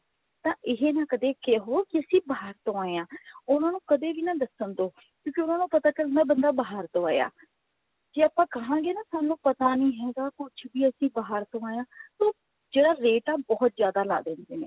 ਤਾਂ ਇਹ ਨਾ ਕਦੇ ਕਹਿਓ ਕਿ ਅਸੀਂ ਬਾਹਰ ਤੋਂ ਆਏ ਹਾਂ ਉਹਨਾਂ ਨੂੰ ਕਦੇ ਵੀ ਨਾ ਦੱਸਣ ਦੋ ਕਿਉਂਕਿ ਉਹਨਾਂ ਦਾ ਪਤਾ ਚੱਲ ਜਾਂਦਾ ਕਿ ਬੰਦਾ ਬਾਹਰ ਤੋਂ ਆਇਆ ਜੇ ਆਪਾਂ ਕਹਾਂਗੇ ਨਾ ਸਾਨੂੰ ਪਤਾ ਨਹੀਂ ਹੈਗਾ ਕੁੱਛ ਵੀ ਅਸੀਂ ਬਾਹਰ ਤੋਂ ਆਏ ਹਾਂ ਤਾਂ ਉਹ ਜਿਹੜਾ ਰੇਟ ਹੈ ਬਹੁਤ ਜਿਆਦਾ ਲਾ ਦਿੰਦੇ ਨੇ